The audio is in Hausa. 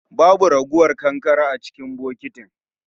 Babu ragowar kankare a cikin bokitin